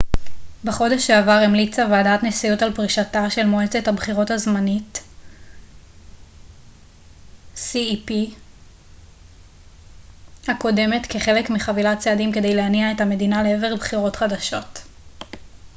בחודש שעבר המליצה ועדת נשיאות על פרישתה של מועצת הבחירות הזמנית cep הקודמת כחלק מחבילת צעדים כדי להניע את המדינה לעבר בחירות חדשות